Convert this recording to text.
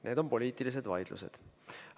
Need on poliitilised vaidlused.